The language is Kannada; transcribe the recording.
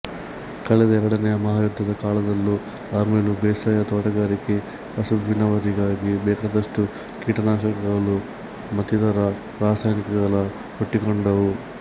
ಕಳೆದ ಎರಡನೆಯ ಮಹಾಯುದ್ಧದ ಕಾಲದಲ್ಲೂ ಆಮೇಲೂ ಬೇಸಾಯ ತೋಟಗಾರಿಕೆ ಕಸುಬಿನವರಿಗಾಗಿ ಬೇಕಾದಷ್ಟು ಕೀಟನಾಶಕಗಳು ಮತ್ತಿತರ ರಾಸಾಯನಿಕಗಳು ಹುಟ್ಟಿಕೊಂಡವು